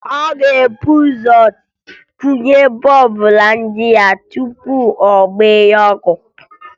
Ọ ga-ebu ụzọ kwụnye bọọbụ na nji ya tupu ọ gbaghee ọkụ